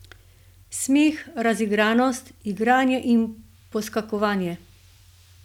Smeh, razigranost, igranje in poskakovanje.